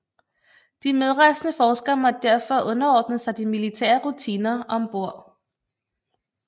De medrejsende forskere måtte derfor underordne sig de militære rutiner om bord